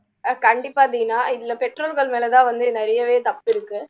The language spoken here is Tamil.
கண்டிப்பா தீனா இதுல பெற்றோர்கள் மேல தான் வந்து நிறையவே தப்பு இருக்கு